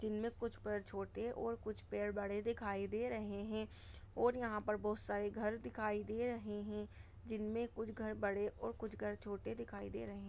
जिनमें कुछ पेड़ छोटे और कुछ पेड़ बड़े दिखाई दे रहे हैं और यहाँ पर बहुत सारे घर दिखाई दे रहे हैं जिनमें कुछ घर बड़े और कुछ घर छोटे दिखाई दे रहे--